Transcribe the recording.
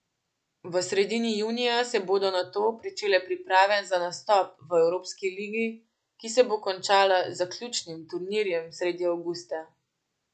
V sredini junija se bodo nato pričele priprave za nastop v evropski ligi, ki se bo končala z zaključnim turnirjem sredi avgusta.